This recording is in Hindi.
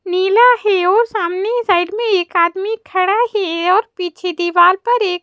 नीला है वो सामने साइड में एक आदमी खड़ा है और पीछे दीवार पर एक--